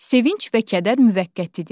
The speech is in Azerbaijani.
Sevinc və kədər müvəqqətidir.